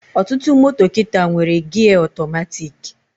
Ọtụtụ moto kịta nwere gia ọtọmatiki